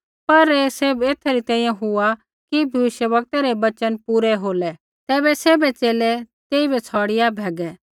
पर ऐ सैभ एथै री तैंईंयैं हुआ कि भविष्यवक्तै रै वचन पूरै होलै तैबै सैभ च़ेले तेइबै छ़ौड़िया भैगै